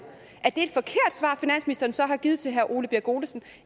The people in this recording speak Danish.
er et så har givet til herre ole birk olesen